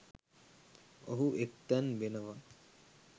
ඔහු එක් තැන් වෙනවා.